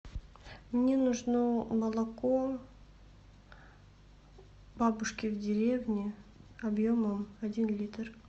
мне нужно молоко бабушки в деревне объемом один литр